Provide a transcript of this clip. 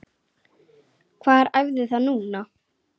Hvar æfiði þá núna?